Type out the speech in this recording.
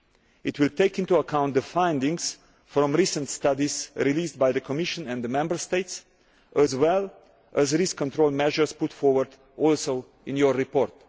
It will take into account the findings from recent studies released by the Commission and the Member States, as well as risk control measures put forward also in your report.